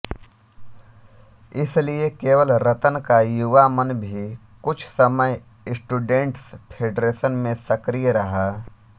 इसलिए केवल रतन का युवा मन भी कुछ समय स्टूडेंट्स फेडरेशन में सक्रिय रहा